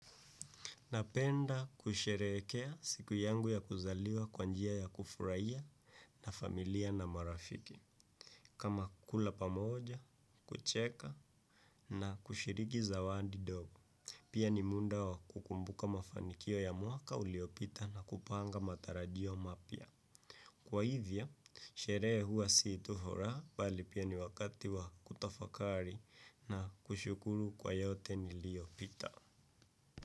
Napenda kusherekea siku yangu ya kuzaliwa kwanjia ya kufuraiya na familia na marafiki. Kama kula pamoja, kucheka na kushiriki zawandi dogo. Pia ni munda wa kukumbuka mafanikio ya muaka uliopita na kupanga matarajio mapia. Kwa hivya, sheree huwa siitu fura, bali pia ni wakati wa kutafakari na kushukuru kwa yote niliopita.